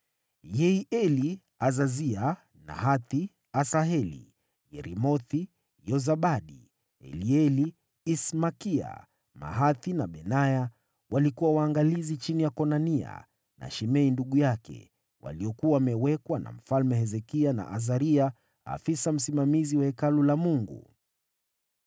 Yehieli, Azazia, Nahathi, Asaheli, Yeremothi, Yozabadi, Elieli, Ismakia, Mahathi na Benaya walikuwa waangalizi chini ya Konania na Shimei ndugu yake, waliokuwa wamewekwa na Mfalme Hezekia na Azaria, afisa msimamizi wa Hekalu la Mungu.